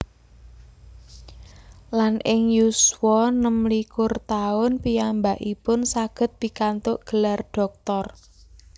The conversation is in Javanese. Lan ing yuswa 26 taun piyambakipun saged pikantuk gelar dhoktor